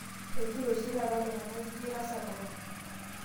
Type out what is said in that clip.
ejito oshitaata iltunganak jii atasapuka